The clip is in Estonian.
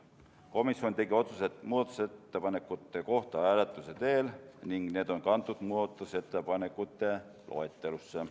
Komisjon tegi otsused muudatusettepanekute kohta hääletuse teel ning need on kantud muudatusettepanekute loetelusse.